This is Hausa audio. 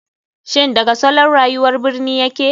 Shin daga salon rayuwar birni yake?